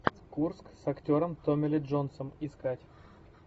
курск с актером томми ли джонсом искать